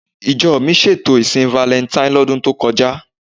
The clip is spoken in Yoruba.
Ìjọ mi ṣètò ìsìn valẹntain lọ́dún tó kọjá.